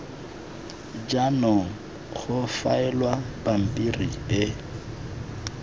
jaanong go faelwa pampiri e